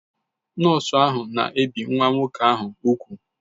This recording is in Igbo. Nọọsụ ahụ na-ebi nwa nwoke ahụ úgwù